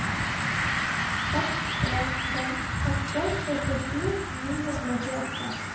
seks en fem åtte sekstisju ni hundre og tjueåtte